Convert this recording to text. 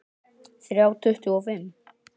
Þrjá tuttugu og fimm